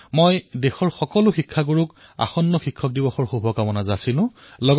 মই দেশৰ সকলো শিক্ষকক অনাগত শিক্ষক দিৱসৰ শুভকামনা জনাইছোঁ